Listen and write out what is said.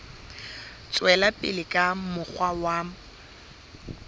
tswela pele ka mokgwa wa